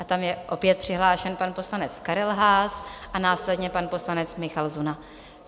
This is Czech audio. A tam je opět přihlášen pan poslanec Karel Haas a následně pan poslanec Michal Zuna.